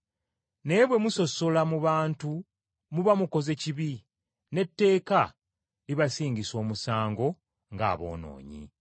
Naye bwe musosola mu bantu muba mukoze kibi, n’etteeka libasingisa omusango ng’aboonoonyi.